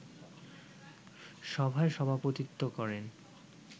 সভায় সভাপতিত্ব করেন